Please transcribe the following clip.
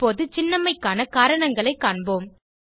இப்போது சின்னம்மைக்கான காரணங்களைக் காண்போம்